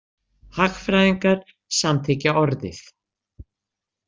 Hagfræðingar samþykkja orðið.